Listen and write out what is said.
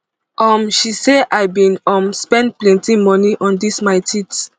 um she say i bin um spend plenti money on dis my teeth